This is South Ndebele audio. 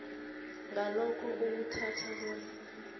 ngalokho uwuthatha bona